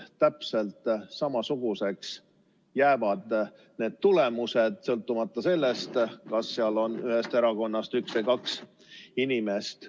Täpselt samasuguseks jäävad need tulemused, sõltumata sellest, kas seal on ühest erakonnast üks või kaks inimest.